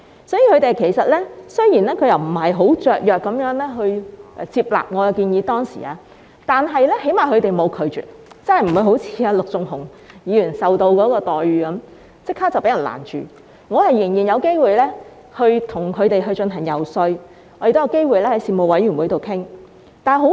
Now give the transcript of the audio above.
雖然他們當時並非很雀躍地接納我的建議，但起碼他們沒有拒絕，即不會好像陸頌雄議員般，建議立即遭攔截，我仍然有機會遊說他們，也有機會在事務委員會會議上討論。